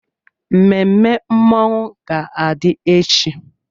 Mmemme mmọnwụ ga-adị echi.